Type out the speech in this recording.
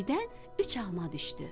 Göydən üç alma düşdü.